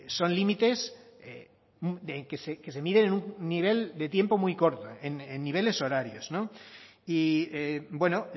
son límites que se miden en un nivel de tiempo muy corto en niveles horarios y bueno